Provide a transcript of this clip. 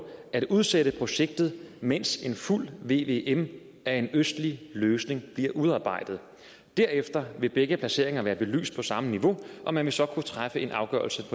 at udsætte projektet mens en fuld vvm af en østlig løsning bliver udarbejdet derefter vil begge placeringer være belyst på samme niveau og man vil så kunne træffe en afgørelse